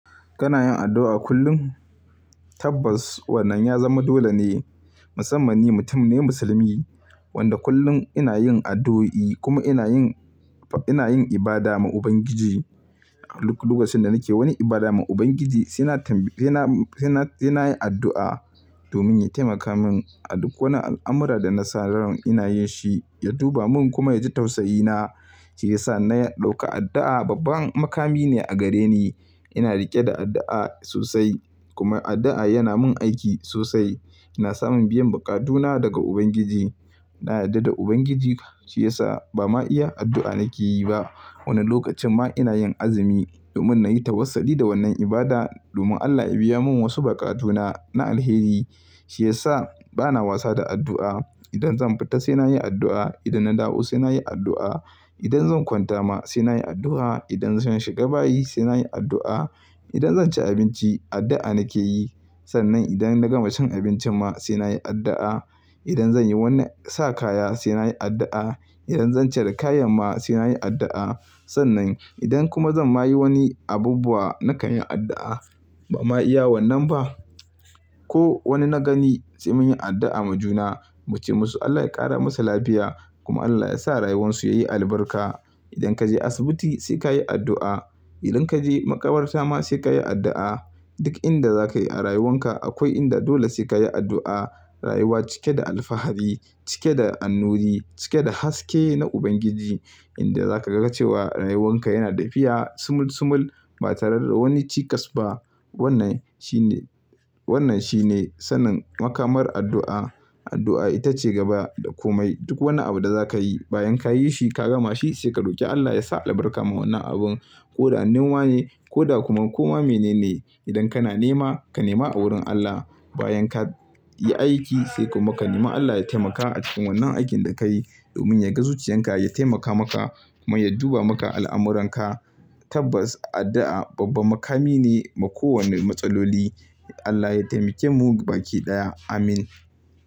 Kana yin addu'a kullum? Tabbas wannan ya zama dole ne. Musamman ni mutum ne musulmi wanda kullum ina yin addu'o'i. Kuma ina yin ina yin ibada ma Ubangiji. A lokacin da nake wani ibada ma Ubangiji sai na sai na yi addu'a domin ya taimaka min a duk wani al'amura da na san rawar ina yin shi, ya duba min kuma ya ji tausayi na. Shi yasa na dauka addu'a babban makami ne a gare ni. Ina riƙe da addu'a sosai kuma addu'a yana min aiki sosai. Ina samun biyan buƙatuna daga Ubangiji. Na yarda da Ubangiji, shi yasa ba ma iya addu'a nake yi ba. Wani lokacin ma ina yin azumi domin na yi tawassuli da wannan ibada domin Allah ya biya mun wasu buƙatuna na alheri. Shi yasa bana wasa da addu'a. Idan zan fita sai na yi addu'a, idan na dawo sai na yi addu'a, idan zan kwanta ma sai na yi addu'a, idan zan shiga bayi sai na yi addu'a, idan zan ci abinci addu'a nake yi. Sannan idan na gama cin abinci ma sai na yi addu'a, idan zan yi wani sa kaya sai na yi addu'a, idan zan cire kayan ma sai na yi addu'a. Sannan idan kuma zan ma yi wani abubuwa na kan yi addu'a. Ba ma iya wannan ba. Ko wani na gani sai mun yi addu'a ma juna muce musu Allah ya ƙara musu lafiya kuma Allah ya sa rayuwarsu yayi albarka. Idan ka je asibiti sai kayi addu'a. Idan ka je makabarta ma sai kayi addu'a. Duk inda za ka yi a rayuwan ka akwai inda dole sai kayi addu'a. Rayuwa cike da alfahari, cike da annuri, cike da haske na Ubangiji inda za ka ga cewa rayuwan ka yana tafiya sumul sumul ba tare da wani cikas ba. Wannan shine, wannan shine sanin makamar addu'a. Addu'a ita ce gaba da komai. Duk wani abu da za ka yi, bayan ka yi shi ka gama shi, sai ka roki Allah ya sa albarka ma wannan abun. Ko da noma ne, ko da kuma koma mene ne. Idan kana nema ka nema a wurin Allah. Bayan ka yi aiki sai kuma ka nema Allah ya taimaka a cikin wannan aikin da ka yi domin ya ga zuciyan ka ya taimaka maka kuma ya duba maka al'amuranka. Tabbas addu'a babban makami ne ma ko wanne matsaloli. Allah ya taimake mu baki ɗaya. Amin.